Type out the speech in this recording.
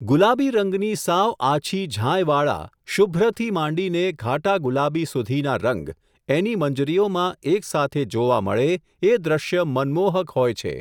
ગુલાબી રંગની સાવ આછી ઝાંયવાળા, શુભ્રથી માંડીને ઘાટા ગુલાબી સુધીના રંગ, એની મંજરીઓમાં એકસાથે જોવા મળે એ દ્રશ્ય મનમોહક હોય છે.